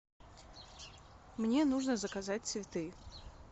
мне нужно заказать цветы